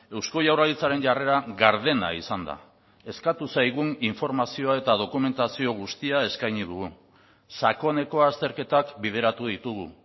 eusko jaurlaritzaren jarrera gardena izan da eskatu zaigun informazioa eta dokumentazio guztia eskaini dugu sakoneko azterketak bideratu ditugu